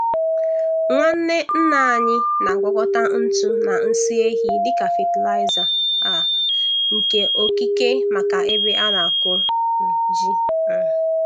Nwanne nne anyị na-agwakọta ntụ na nsị ehi dị ka fatịlaịza um nke okike maka ebe a na-akụ um ji. um